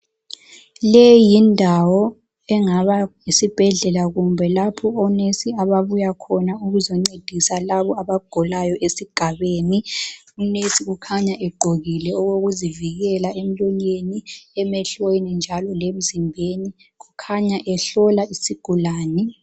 Le yindawo engaba yisibhedlela kumbe lapho onesi ababuya khona bezoncedisa labo abagulayo esigabeni. Unesi ukhanya egqokile okokuzivikela emlonyeni, emehlweni njalo lemzimbeni. Ukhanya ehlola isigulane.